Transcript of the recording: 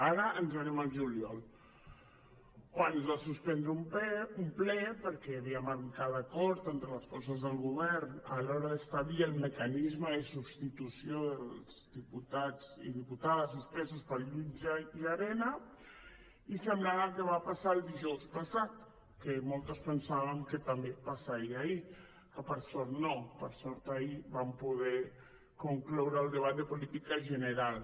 ara ens n’anem al juliol quan es va suspendre un ple perquè hi havia manca d’acord entre les forces del govern a l’hora d’establir el mecanisme de substitució dels diputats i diputades suspesos pel jutge llarena i semblant al que va passar dijous passat que moltes pensàvem que també passaria ahir i que per sort no per sort ahir vam poder concloure el debat de política general